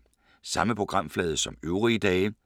Samme programflade som øvrige dage